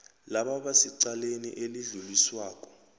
labo abasecaleni elidluliswako